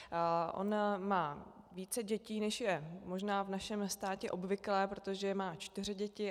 On má více dětí, než je možná v našem státě obvyklé, protože má čtyři děti.